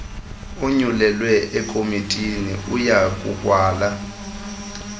owonyulelwe ekomitini uyakukwala